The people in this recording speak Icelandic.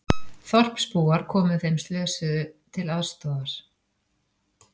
Þorpsbúar komu þeim slösuðust til aðstoðar